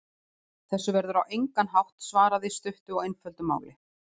Þessu verður á engan hátt svarað í stuttu og einföldu máli.